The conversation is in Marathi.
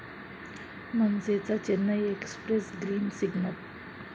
मनसेचा 'चेन्नई एक्स्प्रेस' ग्रीन सिग्नल